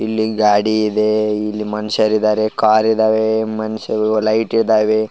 ಇಲ್ಲಿ ಗಾಡಿ ಇದೆ ಇಲ್ಲಿ ಮನುಷ್ಯರು ಇದ್ದಾರೆ ಕಾರ್ ಇದಾವೆ ಮನುಷ್ಯ ಲೈಟ್ ಇದಾವೆ.